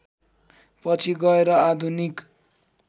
पछि गएर आधुनिक